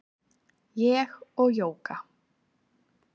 Ég og Jóga